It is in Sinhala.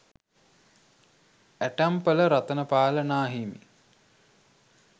ඇටැම්පල රතනපාල නා හිමි.